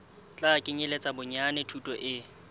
tla kenyeletsa bonyane thuto e